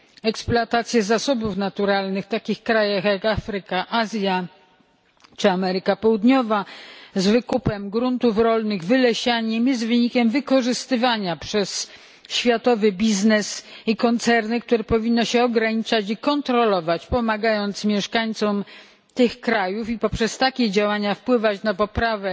Eksploatacja zasobów naturalnych w takich krajach, jak Afryka, Azja czy Ameryka Południowa, włącznie z wykupem gruntów rolnych i wylesianiem, jest wynikiem wykorzystywania przez światowy biznes i koncerny, które powinno się ograniczać i kontrolować, pomagając mieszkańcom tych krajów, i poprzez takie działania wpływać na poprawę